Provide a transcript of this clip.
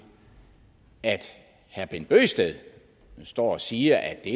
at herre bent bøgsted står og siger at det